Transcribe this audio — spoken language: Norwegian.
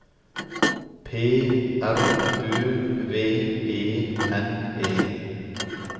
P R Ø V E N E